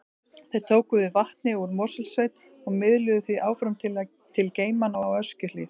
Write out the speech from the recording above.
Þeir tóku við vatni úr Mosfellssveit og miðluðu því áfram til geymanna á Öskjuhlíð.